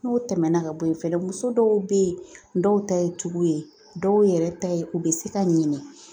N'o tɛmɛna ka bɔ yen fɛnɛ muso dɔw bɛ yen dɔw ta ye tugu ye dɔw yɛrɛ ta ye u bɛ se ka ɲinɛ